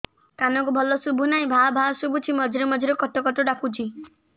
କାନକୁ ଭଲ ଶୁଭୁ ନାହିଁ ଭାଆ ଭାଆ ଶୁଭୁଚି ମଝିରେ ମଝିରେ କଟ କଟ ଡାକୁଚି